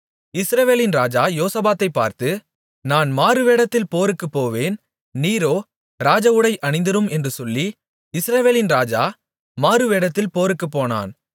இஸ்ரவேலின் ராஜா யோசபாத்தைப் பார்த்து நான் மாறுவேடத்தில் போருக்குப் போவேன் நீரோ ராஜஉடை அணிந்திரும் என்று சொல்லி இஸ்ரவேலின் ராஜா மாறுவேடத்தில் போருக்குப் போனான்